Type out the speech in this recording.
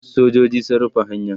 sojoji sun rufe hanyan